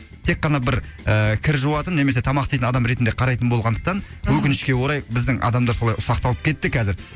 тек қана бір кір ііі жуатын немесе тамақ істейтін адам ретінде қарайтын болғандықтан мхм өкінішке орай біздің адамдар солай ұсақталып кетті қазір